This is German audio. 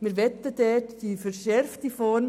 Dort möchten wir die verschärfte Form.